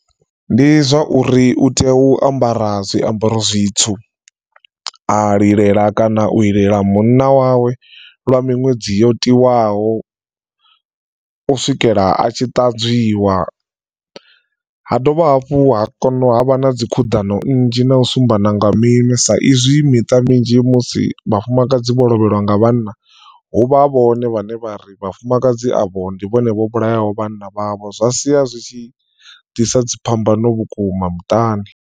Ndi zwa uri u tea u ambara zwiambaro zwitswu a lilela kana u itela munna wawe lwa miṅwedzi yo tiwaho u swikela a tshi ṱanzwiwa, ha dovha hafhu ha kona ha vha na dzi khuḓano nnzhi na u sumbedzana nga mini sa izwi miṱa minzhi musi vhafumakadzi vho lovhelwa nga vhanna huvha vhone vhaṋe vha ri vhafumakadzi avho ndi vhone vho vhulayaho vhana vhavho zwa sia zwitshi ḓisa dziphambano vhukuma muṱani.